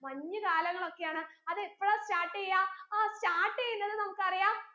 മഞ്ഞു കാലങ്ങളൊക്കെയാണ് അതെപ്പോഴാ start എയ്യാ ആ start എയ്യുന്നത് നമുക്കറിയാം